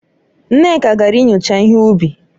Nneka gara inyocha ihe ubi.